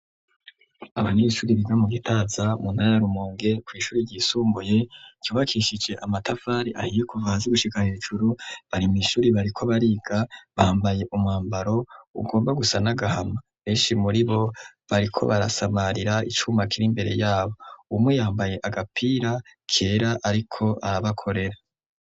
Aba nibishuri biga mu gitaza munayarumonge kw'ishuri ryisumbuye yubakishije amatafari ahiye kuvazi gushikana ibijuru barima ishuri bariko bariga bambaye umambaro ugomba gusa n'agahama eshi muri bo bariko barasamarira icumakire imbere yabo umwe yambaye agapira ke ra, ariko arabakorera.